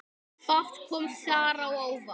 Fátt kom þar á óvart.